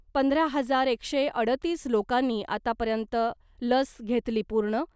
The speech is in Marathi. पंधरा हजार एकशे अडतीस लोकांनी आतापर्यंत लस घेतली पूर्ण .